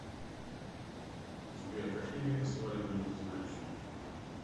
сбер какие виды сваливание ты знаешь